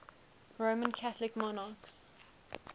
roman catholic monarchs